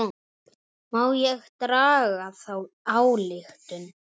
Má ekki draga þá ályktun?